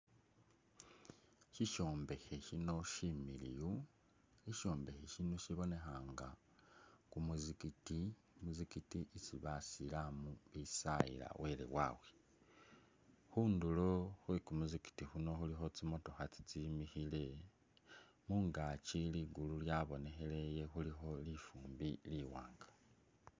Shishombekhe shino shimiliwu. shishombekhe shino shibonekha nga kumuzigiti isi basilamu bisayila wele wawe khundulu khwe kumuzigiti kuno khulikho tsimotokha tsitsimikhile mungakyi ligulu lyabonekhelele khulikho lifumbi liwanga.